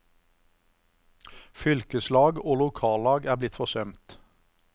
Fylkeslag og lokallag er blitt forsømt.